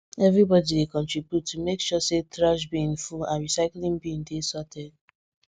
everybody dey contribute to make sure say trash bin full and recycling bin dey sorted